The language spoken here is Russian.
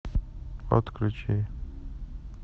отключи